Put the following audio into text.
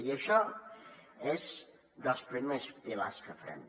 i això és dels primers pilars que farem